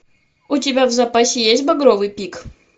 у тебя в запасе есть багровый пик